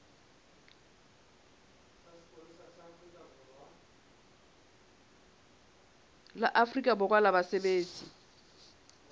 la afrika borwa la basebetsi